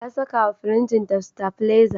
Ta sakawa firinjinta sitabileza.